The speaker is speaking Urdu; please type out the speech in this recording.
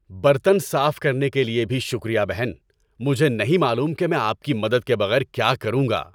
برتن صاف کرنے کے لیے بھی شکریہ، بہن۔ مجھے نہیں معلوم کہ میں آپ کی مدد کے بغیر کیا کروں گا۔